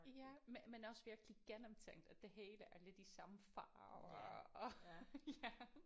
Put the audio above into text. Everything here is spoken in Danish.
Ja men men også virkelig gennemtænkt at det hele er lidt i samme farve og og ja